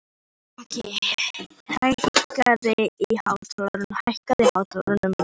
Melrakki, hækkaðu í hátalaranum.